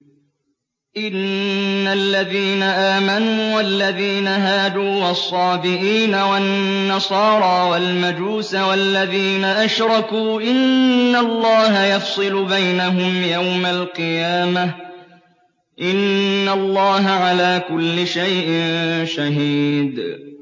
إِنَّ الَّذِينَ آمَنُوا وَالَّذِينَ هَادُوا وَالصَّابِئِينَ وَالنَّصَارَىٰ وَالْمَجُوسَ وَالَّذِينَ أَشْرَكُوا إِنَّ اللَّهَ يَفْصِلُ بَيْنَهُمْ يَوْمَ الْقِيَامَةِ ۚ إِنَّ اللَّهَ عَلَىٰ كُلِّ شَيْءٍ شَهِيدٌ